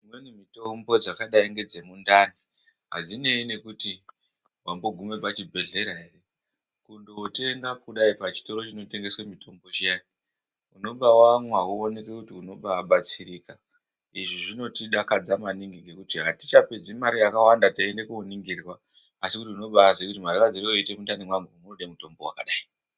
Kune mitombo dzakadai ngedzemundani. Hadzinei nekuti wambogume pachibhedhlera ere. Kundotenga kudai pachitoro chinotengeswe mutombo chiyana, unenge wamwa wooneke kuti unombatsirika. Izvi zvinotidakadza maningi ngekuti hatichapedzi mare yakawanda teiende koningirwa, asi kuti unobaziye kuti marwadzire oite mundani mwangu, munode mutombo wakadai.